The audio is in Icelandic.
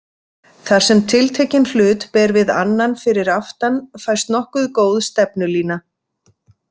Þar sem tiltekinn hlut ber við annan fyrir aftan fæst nokkuð góð stefnulína.